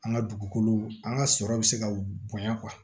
An ka dugukolo an ka sɔrɔ bɛ se ka bonɲa